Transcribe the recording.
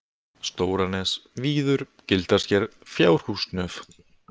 Stóranes, Víður, Gildrasker, Fjárhúsnöf